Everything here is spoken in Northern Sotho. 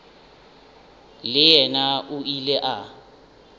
le yena o ile a